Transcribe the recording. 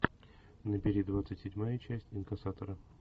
набери двадцать седьмая часть инкассатора